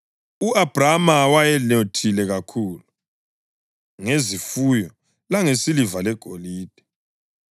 U-Abhrama wayesenothile kakhulu ngezifuyo langesiliva legolide.